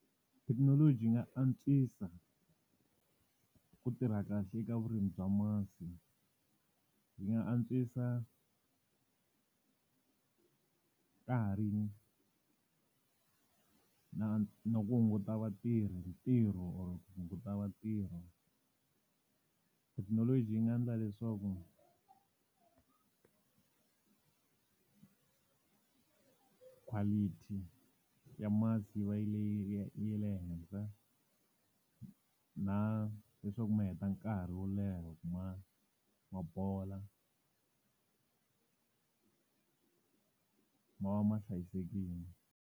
Thekinoloji yi nga antswisa, ku tirha kahle eka vurimi bya masi. Yi nga antswisa na no ku hunguta vatirhi ntirho or ku hunguta vatirhi. Thekinoloji yi nga endla leswaku quality ya masi yi va leyi ya le henhla na leswaku mi heta nkarhi wo leha loko ma bola. Ma va ma hlayisekile.